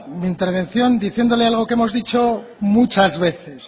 mi intervención diciéndole algo que hemos dicho muchas veces